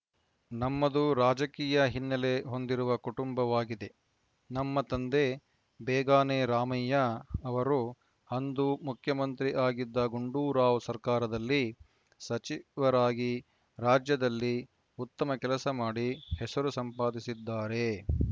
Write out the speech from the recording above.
ನಮ್ಮದು ರಾಜಕೀಯ ಹಿನ್ನೆಲೆ ಹೊಂದಿರುವ ಕುಟುಂಬವಾಗಿದೆ ನಮ್ಮ ತಂದೆ ಬೇಗಾನೆ ರಾಮಯ್ಯ ಅವರು ಅಂದು ಮುಖ್ಯಮಂತ್ರಿ ಆಗಿದ್ದ ಗುಂಡೂರಾವ್‌ ಸರಕಾರದಲ್ಲಿ ಸಚಿವ ರಾಗಿ ರಾಜ್ಯದಲ್ಲಿ ಉತ್ತಮ ಕೆಲಸ ಮಾಡಿ ಹೆಸರು ಸಂಪಾದಿಸಿದ್ದಾರೆ